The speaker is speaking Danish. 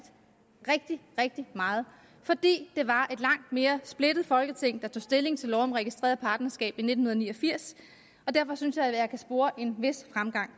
meget fordi det var et langt mere splittet folketing der tog stilling til lov om registreret partnerskab i nitten ni og firs derfor synes jeg at kunne spore en vis fremgang